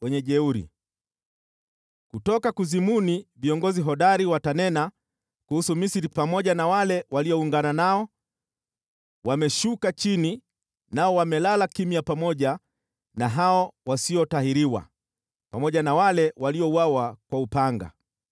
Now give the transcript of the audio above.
Kutoka kuzimu viongozi hodari watanena kuhusu Misri pamoja na wale walioungana nao, ‘Wameshuka chini, nao wamelala kimya pamoja na hao wasiotahiriwa, pamoja na wale waliouawa kwa upanga.’